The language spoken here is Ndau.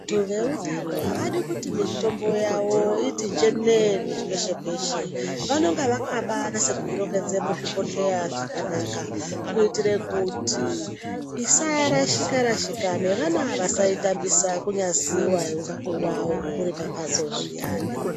Vantu veutano avadi kuti mitombo yavo iti njenene peshe peshe vanonga vakabanasa kuirongedza muzvibhodhleya zvakanaka kuitire kuti isarashika rashika nevana vasaitambisa kunyasiiwa uri pambatso zviyani.